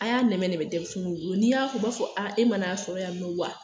A y'a nɛmɛ denmisɛnnin bolo n'i y'a fɔ o b'a fɔ a e ma n'a sɔrɔya yen nɔ wa